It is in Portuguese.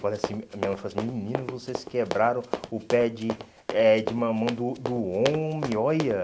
Falei assim, minha mãe falou assim, menino, vocês quebraram o pé de eh de mamão do do homem, olha.